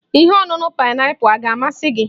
Ihe ọṅuṅu paịnapụl a ga-amasị gị?